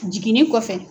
Jiginni kɔfɛ